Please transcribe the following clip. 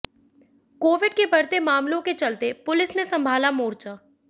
Covid के बढ़ते मामलों के चलते पुलिस ने संभाला मोर्चा